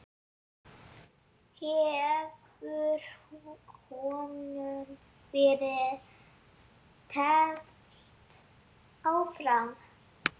Hefur honum verið teflt fram?